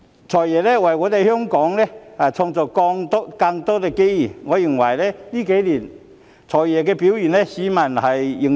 "財爺"為香港創造了更多機遇，我認為他這數年的表現得到市民認同。